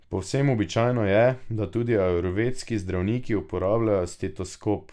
Povsem običajno je, da tudi ajurvedski zdravniki uporabljajo stetoskop.